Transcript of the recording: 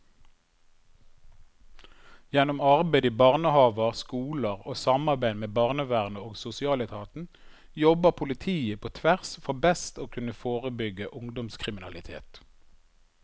Gjennom arbeid i barnehaver, skoler og samarbeid med barnevernet og sosialetaten jobber politiet på tvers for best å kunne forebygge ungdomskriminalitet.